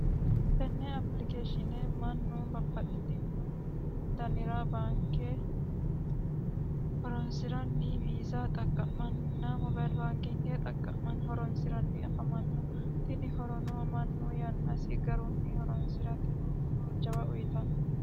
Tenne application mannu babbaxino coyiira horonsiranni afamanno tini horono mannu lowohunni horonsiranni afamannote yaate.